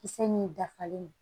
Kisɛ min dafalen don